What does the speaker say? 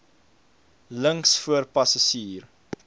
links voor passasier